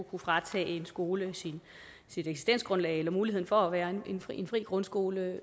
kunne fratage en skole dens eksistensgrundlag eller mulighed for at være en fri grundskole